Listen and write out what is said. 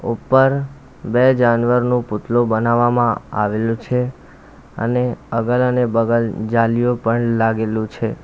ઉપર બે જાનવરનું પૂતલુ બનાવવામાં આવેલું છે અને અગલ અને બગલ જાલીઓ પણ લાગેલું છે.